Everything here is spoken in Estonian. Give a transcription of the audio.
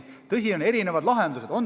Tõsi, on erinevaid lahendusi.